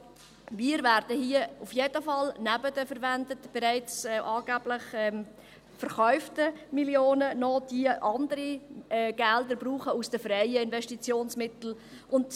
Aber wir werden hier auf jeden Fall neben den verwendeten, angeblich bereits verkauften Millionen, noch andere Gelder aus den freien Investitionsmitteln brauchen.